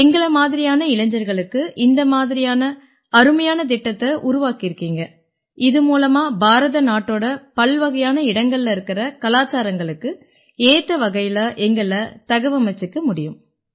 எங்களை மாதிரியான இளைஞர்களுக்கு இந்த மாதிரியான அருமையான திட்டத்தை உருவாக்கி இருக்கீங்க இது மூலமா பாரத நாட்டோட பல்வகையான இடங்கள்ல இருக்கற கலாச்சாரங்களுக்கு ஏத்த வகையில எங்களைத் தகவமைச்சுக்க முடியும்